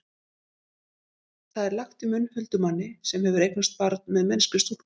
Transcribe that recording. það er lagt í munn huldumanni sem hefur eignast barn með mennskri stúlku